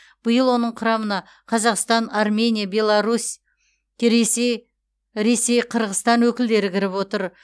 биыл оның құрамына қазақстан армения беларусь кресей ресей қырғызстан өкілдері кіріп отыр